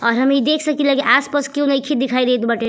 और हम ई देख सकीला की आस-पास केहू नइखे दिखाई देत बाटे।